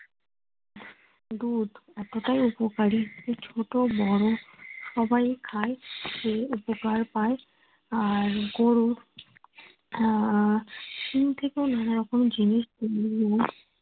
দুধ এতটাই উপকারি যে ছোট বড় সবাই খায়। খেয়ে উপকার পায় আর গরু আহ নানা রকম জিনিস